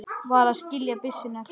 Varð að skilja byssuna eftir.